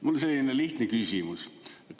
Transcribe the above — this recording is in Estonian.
Mul on selline lihtne küsimus.